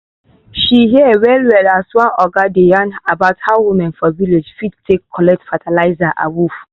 she hear well well as one oga dey yan about how women for village fit take collect fertilizer awoof.